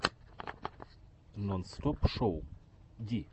нонстопшоу ди